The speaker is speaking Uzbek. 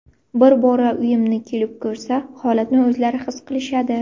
Bir bora uyimni kelib ko‘rsa, holatni o‘zlari his qilishadi.